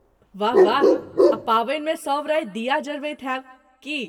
वाह वाह। आ पाबनिमे सब राति दीया जरबैत होयब? की?